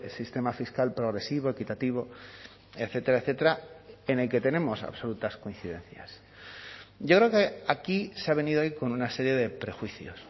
sistema fiscal progresivo equitativo etcétera etcétera en el que tenemos absolutas coincidencias yo creo que aquí se ha venido hoy con una serie de prejuicios